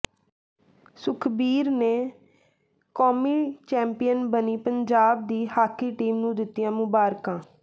ਸੁਖਬੀਰ ਨੇ ਕੌਮੀ ਚੈਂਪੀਅਨ ਬਣੀ ਪੰਜਾਬ ਦੀ ਹਾਕੀ ਟੀਮ ਨੂੰ ਦਿੱਤੀਆਂ ਮੁਬਾਰਕਾਂ